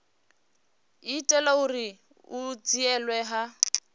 itela uri hu dzhielwe nha